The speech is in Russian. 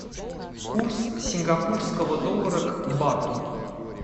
курс сингапурского доллара к бату